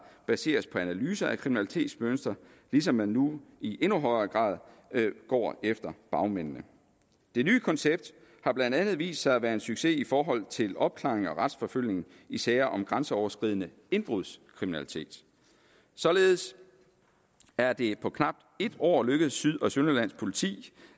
baseres på analyser af kriminalitetsmønstre ligesom man nu i endnu højere grad går efter bagmændene det nye koncept har blandt andet vist sig at være en succes i forhold til opklaring og retsforfølgning i sager om grænseoverskridende indbrudskriminalitet således er det på knapt et år lykkedes syd og sønderjyllands politi